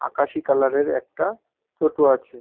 আকাশি কালার -এর একটা টোটো আছে ।